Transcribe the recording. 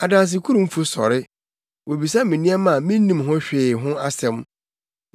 Adansekurumfo sɔre; wobisa me nneɛma a minnim ho hwee ho asɛm.